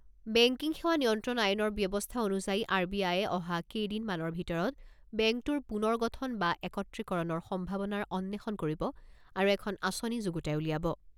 Banking সেৱা নিয়ন্ত্ৰণ আইনৰ ব্যৱস্থা অনুযায়ী আৰ বি আয়ে অহা কেইদিন মানৰ ভিতৰত বেংকটোৰ পুনৰ গঠন বা একত্ৰীকৰণৰ সম্ভাৱনাৰ অন্বেষণ কৰিব আৰু এখন আঁচনি যুগুতাই উলিয়াব।